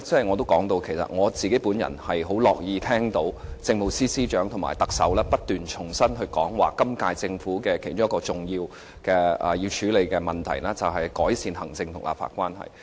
我很高興聽到政務司司長及特首不斷重申，表示今屆政府其中一個主要處理的問題，就是改善行政立法關係。